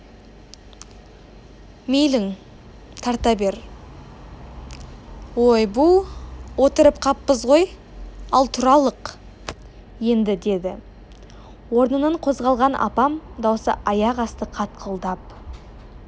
мейлің тарта бер ойбу отырып қаппыз ғой ал тұралық енді деді орнынан қозғалған апам даусы аяқ асты қатқылдап